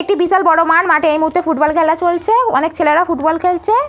এটি বিশাল বড়ো মাঠ। মাঠে এই মুহূর্তে ফুটবল খেলা চলছে। অনেক ছেলেরা ফুটবল খেলছে।